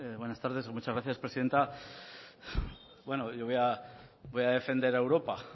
buenas tardes y muchas gracias presidenta bueno yo voy a defender a europa